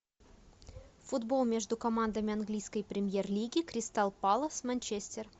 футбол между командами английской премьер лиги кристал пэлас манчестер